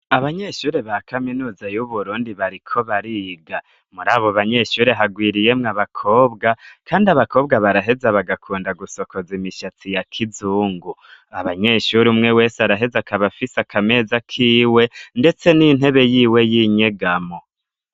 Abanyeshuri ba kaminuza yu Burundi bariko bariga muri abo banyeshuri harwiriyemwo abakobwa kandi abakobwa baraheza bagakunda gusokoza imishatsi ya kizungu abanyeshuri umwe wese araheze akabafise akameza kiwe ndetse n'intebe y'iwe y'inyegamo.